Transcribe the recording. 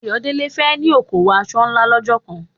Ayodele fẹ́ ní okòwò aṣọ ńlá lọ́jọ́ kan.